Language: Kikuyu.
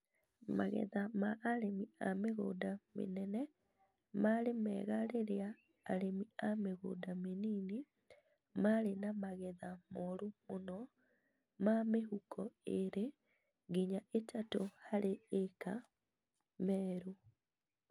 Magetha ma arĩmĩ a mĩgũnda mĩnene marĩ mega rĩrĩa arĩmĩ a mĩgunda mĩnini marĩ na magetha moru mũno ma mĩhuko ĩĩrĩ nginya ĩtatũ harĩ ĩĩka Meru